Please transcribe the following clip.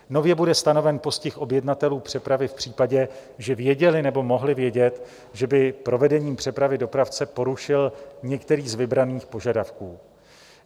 Nově bude stanoven postih objednatelů přepravy v případě, že věděli nebo mohli vědět, že by provedení přepravy dopravce porušil některý z vybraných požadavků.